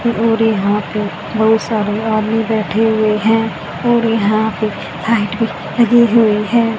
और यहां पे बहुत सारे आदमी बैठे हुए हैं और यहां पे लाइट भी लगी हुई है।